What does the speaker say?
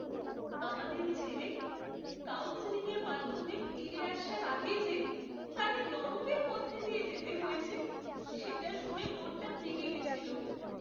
আমাদের ছেলে, কাউন্সেলিংয়ের মাধ্যমে ফিরে আসার আগে যে তাকে নরকের মধ্য দিয়ে যেতে হয়েছে, সেটা শুনে মনটা ভেঙে গেছিল।